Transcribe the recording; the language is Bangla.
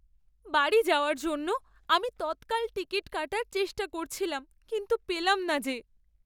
বাড়ি যাওয়ার জন্য আমি তৎকাল টিকিট কাটার চেষ্টা করছিলাম কিন্তু পেলাম না যে!